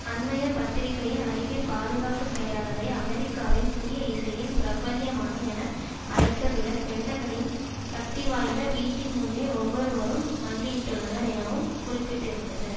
அண்மைய பத்திரிகையின்அறிக்கை பாதுகாப்பு செயலாளரை அமெரிக்காவின் புதிய இசையில் பிரபல்யமான என அழைத்ததுடன் பென்டகனின் சக்திவாய்ந்த வீட்டின் முன்னே ஒவ்வொருவரும் மண்டியிட்டுள்ளனர் எனவும் குறிப்பிட்டிருந்தது